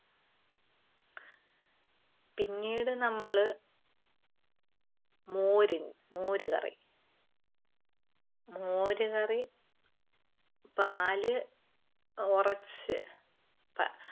പിന്നീട് നമ്മള് മോര് മോരുകറി. മോരുകറി പാല് ഒറച്ച് പാ